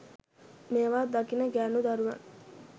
මේවා දකින ගෑණු දරුවන්